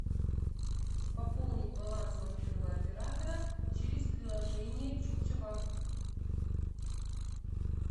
пополнить баланс мобильного оператора через приложение чукча банк